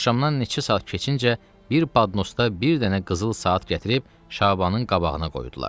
Axşamdan neçə saat keçincə bir badnosda bir dənə qızıl saat gətirib Şabanın qabağına qoydular.